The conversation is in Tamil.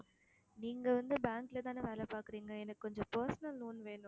நீங்க வந்து bank லதானே வேலை பாக்குறீங்க எனக்கு கொஞ்சம் personal loan வேணும்